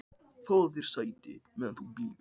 Fáðu þér sæti, meðan þú bíður